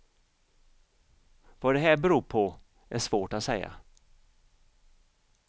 Vad det här beror på är svårt att säga.